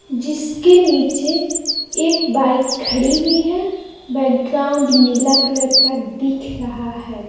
जिसके नीचे एक बाइक खड़ी हुई बैकग्राउंड नीला कलर का दिख रहा है।